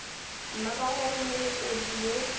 mma ka gore molekodi yo